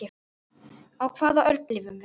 Á hvaða öld lifum við?